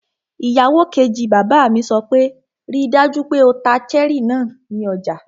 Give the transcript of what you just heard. Ìyàwó kejì bàbá mi sọ pé 'ríi dájú pé o ta cherry náà ní ọjà!